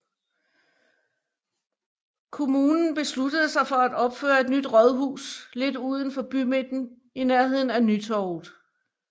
Kommunen besluttede sig for at opføre et nyt rådhus lidt uden for bymidten i nærhden af Nytorvet